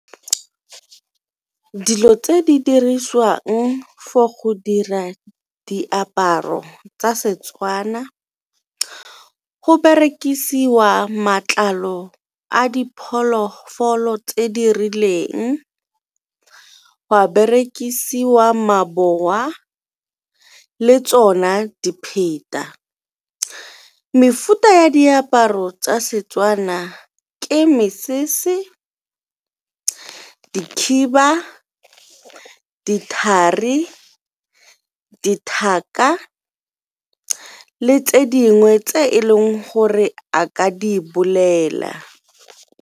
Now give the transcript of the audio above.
Dilo tse di dirisiwang for go dira diaparo tsa Setswana go berekisiwa matlalo a diphologolo tse di rileng, gwa berekisiwa maboa, le tsona . Mefuta ya diaparo tsa Setswana ke mesese, dikhiba, dithari, le tse dingwe tse e leng gore a ka di bolela.